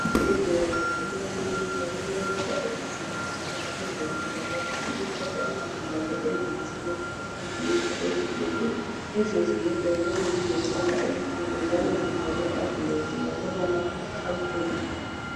Ezibhedlela lasemakilinika kulemota ezisetshenziswa ngabezempilakahle ukuthatha izigulane ezithile beziletha esibhedlela. Lezo zimota ziyabe zilombala omhlophe njalo zibhalwe "ambulance"ngamabala amhlophe.